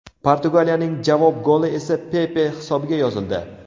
Portugaliyaning javob goli esa Pepe hisobiga yozildi.